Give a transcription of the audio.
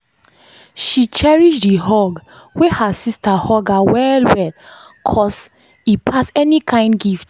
she cherish the hug wey her sister hug her well well cos e pass any kind gift